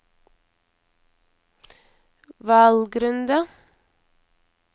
valgrunde